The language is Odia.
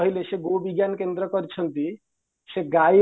କହିଲେ ଗୋ ବିଜ୍ଞାନ କରିଛନ୍ତି ସେ ଗାଈ